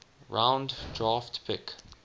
round draft pick